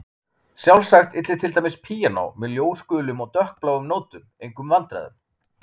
Sjálfsagt ylli til dæmis píanó með ljósgulum og dökkbláum nótum engum vandræðum.